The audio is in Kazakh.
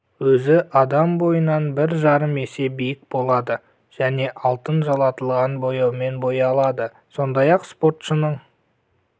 өзі адам бойынан бір жарым есе биік болады және алтын жалатылған бояумен боялады сондай-ақ спортшының